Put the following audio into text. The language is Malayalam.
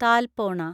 താൽപോണ